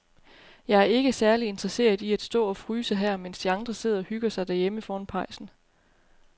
Jeg er ikke særlig interesseret i at stå og fryse her, mens de andre sidder og hygger sig derhjemme foran pejsen.